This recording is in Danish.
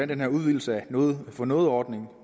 den her udvidelse af noget for noget ordningen